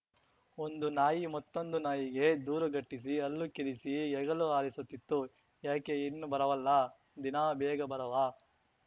ಒಂದು ನಾಯಿ ಮತ್ತೊಂದು ನಾಯಿಗೆ ದೂರುಗಟ್ಟಿಸಿ ಹಲ್ಲು ಕಿರಿಸಿ ಹೆಗಲು ಹಾರಿಸುತ್ತಿತ್ತು ಯಾಕೆ ಇನ್ನೂ ಬರವಲ್ಲ ದಿನಾ ಬೇಗ ಬರಾವ